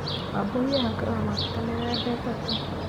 Wambũi ehakaga maguta mĩthemba ĩtatũ